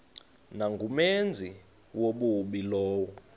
nangumenzi wobubi lowo